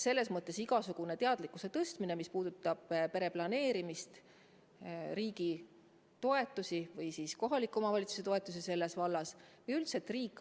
Selles mõttes igasugune teadlikkuse tõstmine, mis puudutab pereplaneerimist, riigi toetusi ja kohaliku omavalitsuse toetusi selles vallas või üldse, tegelikult vajab küll täiendamist.